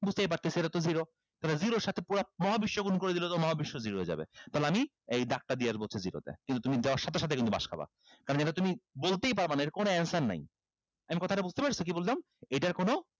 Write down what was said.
বুজতেই পারতেছি এটাতো zero তাহলে zero এর সাথে মহাবিশ্ব গুন করে দিলেও তো মহাবিশ্ব zero হয়ে যাবে তাহলে আমি এই দাগটা দিয়ে আসবো হচ্ছে zero তে কিন্তু তুমি দেওয়ার সাথে সাথে কিন্তু বাঁশ খাবা কারন এটা তুমি বলতেই পারবা না এটার কোন answer নাই আমি কথাটা বুজতে পেরেছ কি বললাম এটার কোন